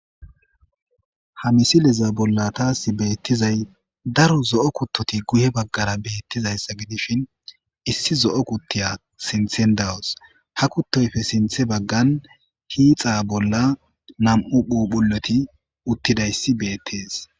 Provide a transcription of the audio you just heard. ha misileza bolla taasi beettizay daro zo7o kuttoti guye baggara beettizayssa gi dishin issi zo7o kuttiya sinthen dawos ha kuttoyfe sinthe baggan hiixa bolla nam7u phuphuloti uttidayssi beettees